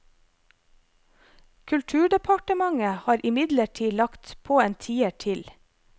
Kulturdepartementet har imidlertid lagt på en tier til.